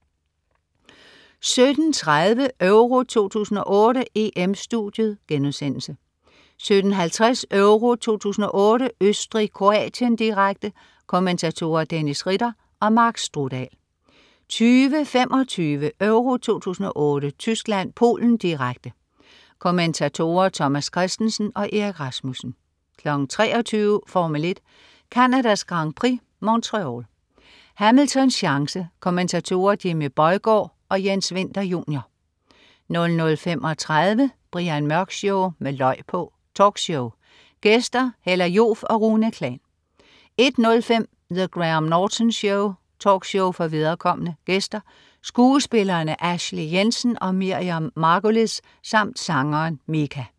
17.30 EURO 2008: EM-Studiet* 17.50 EURO 2008: Østrig-Kroatien, direkte. Kommentatorer: Dennis Ritter og Mark Strudal 20.25 EURO 2008: Tyskland-Polen, direkte. Kommentatorer: Thomas Kristensen og Erik Rasmussen 23.00 Formel 1: Canadas Grand Prix, Montreal. Hamiltons chance. Kommentatorer: Jimmy Bøjgaard og Jens Winther Jr 00.35 Brian Mørk Show, med løg på! Talkshow. Gæster: Hella Joof og Rune Klan 01.05 The Graham Norton Show. Talkshow for viderekomne. Gæster: Skuespillerne Ashley Jensen og Miriam Margolyes samt sangeren Mika